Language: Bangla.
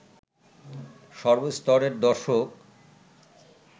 সর্ব স্তরের দর্শক